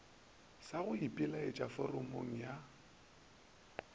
sa go ipelaetša foramong ya